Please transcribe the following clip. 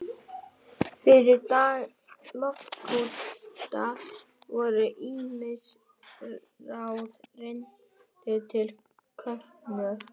Fyrir daga loftkúta voru ýmis ráð reynd til köfunar.